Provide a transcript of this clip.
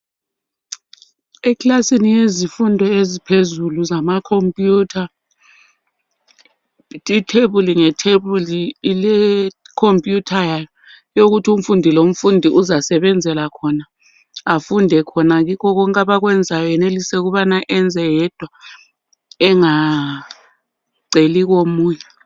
Ekilasini yezifundo eziphezulu zamakhomputha, ithebuli ngethebuli ilekhomputha yayo yokuthi umfundi lomfundi uzasebenzela khona. Afunde khona kikho konke abakwenzayo enelise ukubana enze yedwa engaceli komunye.